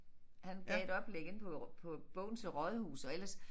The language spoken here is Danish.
Han gav et oplæg inde på på Bogense Rådhus og ellers